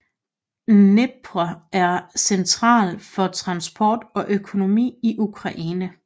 Dnepr er central for transport og økonomi i Ukraine